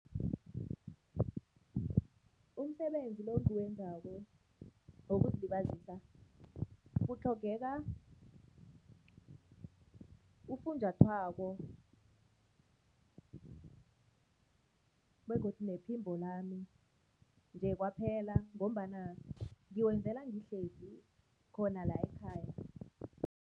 Umsebenzi lo engiwenzako wokuzilibazisa kutlhogeka ufunjathwako begodu nephimbo lami nje kwaphela ngombana ngiwenzela ngihlezi khona la ekhaya.